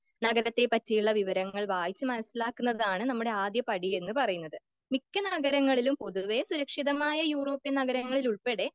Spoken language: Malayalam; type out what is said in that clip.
നഗരത്തെ പറ്റിയുള്ള വിവരങ്ങൾ വായിച്ച് മനസിലാക്കുന്നതാണ് നമ്മുടെ ആദ്യത്തെ പടിയെന്ന് പറയുന്നത്.മിക്ക നഗരങ്ങളിലും പൊതുവെ സുരക്ഷിതമായ യൂറോപ്യൻ നഗരങ്ങളിൽ ഉൾപ്പെടെ